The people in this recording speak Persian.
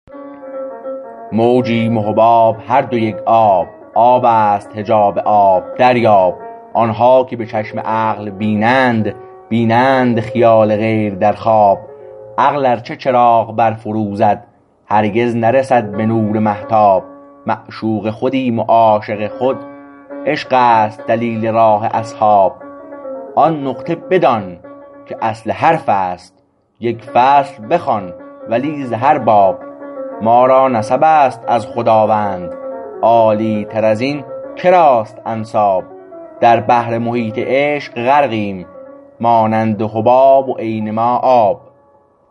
موجیم و حباب هر دو یک آب آبست حجاب آب دریاب آنها که به چشم عقل بینند بینند خیال غیر در خواب عقل ارچه چراغ بر فروزد هرگز نرسد به نور مهتاب معشوق خودیم و عاشق خود عشقست دلیل راه اصحاب آن نقطه بدان که اصل حرفست یک فصل بخوان ولی ز هر باب ما را نسب است از خداوند عالی تر از این که راست انساب در بحر محیط عشق غرقیم مانند حباب و عین ما آب